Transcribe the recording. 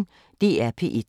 DR P1